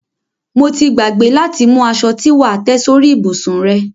Mo gbàgbé láti mú aṣo tí wà á tẹ́ sórí ìbùsùn rẹ.